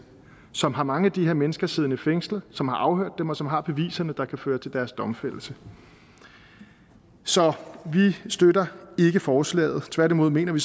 som har mange af de her mennesker siddende fængslet som har afhørt dem og som har beviserne der kan føre til deres domfældelse så vi støtter ikke forslaget tværtimod mener vi